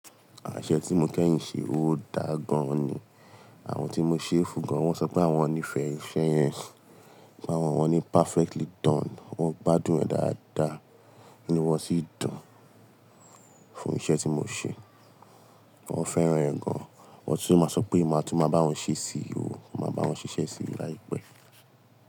Àṣẹ tí mo kẹ́yìn ṣe ò dá gan ni, àwọn tí mo ṣe fù gán. Wọ́n sọ pé àwọn nífẹ̀ẹ́ iṣẹ́ yẹn, pé àwọn wọ́n ní perfectly done. Wọ́n gbádùn ẹ̀ dáadáa inu wọ́n sì dùn fún iṣẹ́ tí mo ṣe. Wọ́n fẹ́ràn ẹ̀ gan, wọ́n tun máa sọ pé màá tún máa bá wọn ṣe sí o, màá bá wọn ṣiṣẹ́ sí i láìpẹ́.